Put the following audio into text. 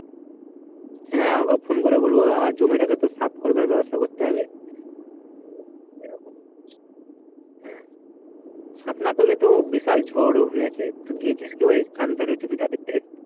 হ্যাঁ okay phone করে বলবো জমিটাকে তো সাফ করে দেওয়ার ব্যবস্থা তো করতে হবে সাফ না করলে তো বিশাল জমিয়ে আছে তুই গিয়েছিস কি ধারের জমিটা দেখতে?